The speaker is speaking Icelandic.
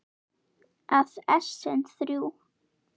að essin eru þrjú!